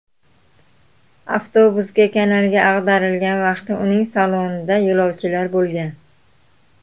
Avtobusga kanalga ag‘darilgan vaqti uning salonida yo‘lovchilar bo‘lgan.